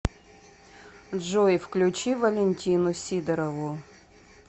джой включи валентину сидорову